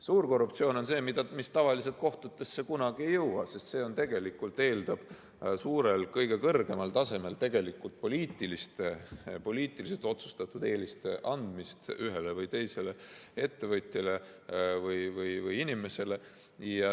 Suur korruptsioon on see, mis tavaliselt kohtutesse kunagi ei jõua, sest see eeldab tegelikult kõige kõrgemal tasemel poliitiliselt otsustatud eeliste andmist ühele või teisele ettevõtjale või inimesele.